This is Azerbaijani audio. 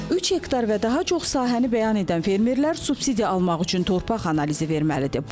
3 hektar və daha çox sahəni bəyan edən fermerlər subsidiya almaq üçün torpaq analizi verməlidir.